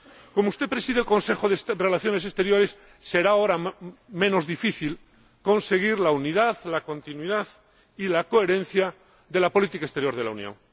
Como usted preside el Consejo de Relaciones Exteriores, será ahora menos difícil conseguir la unidad, la continuidad y la coherencia de la política exterior de la Unión.